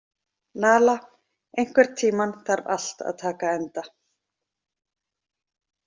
Nala, einhvern tímann þarf allt að taka enda.